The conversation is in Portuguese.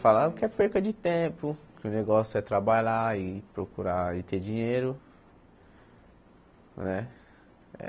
Falaram que é perca de tempo, que o negócio é trabalhar e procurar e ter dinheiro não é.